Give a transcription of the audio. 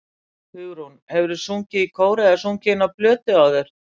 Hugrún: Hefurðu sungið í kór eða sungið inn á plötu áður?